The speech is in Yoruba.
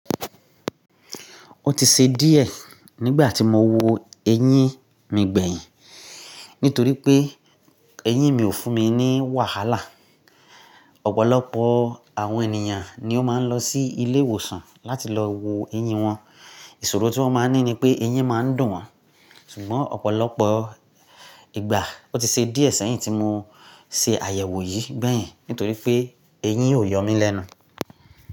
Ó ti ṣe díẹ̀ nígbà tí mo wo eyín mi gbẹ̀yìn, nítorí pé eyín mi ò fún mi ní wàhálà. Ọ̀pọ̀lọpọ̀ àwọn ènìyàn ni ó máa ń lọ sí ilé ìwòsàn láti lọ wo eyín wọn, ìṣòro tí wọ́n ma n ní ni pé eyín ma ń dùn wọ́n, ṣùgbọ́n ọ̀pọ̀lọpọ̀ ìgbà ó ti ṣe díẹ̀ sẹ́yìn tí mo ṣe àyẹ̀wò yìí gbẹ̀yìn nítorí pé eyín ò yọ mí lẹ́nu.